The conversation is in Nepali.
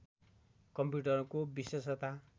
कम्प्युटरको विशेषता